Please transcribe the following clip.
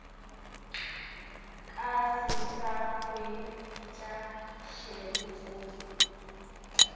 ka se sa hwetšaselo o